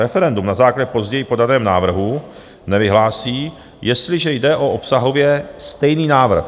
Referendum na základě později podaného návrhu nevyhlásí, jestliže jde o obsahově stejný návrh.